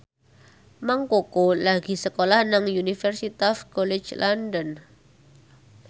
Mang Koko lagi sekolah nang Universitas College London